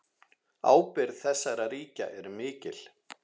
Ábyrgð þessara ríkja er mikil.